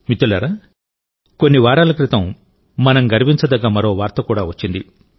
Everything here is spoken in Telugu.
మిత్రులారాకొన్ని వారాల క్రితం మనం గర్వించదగ్గ మరో వార్త కూడా వచ్చింది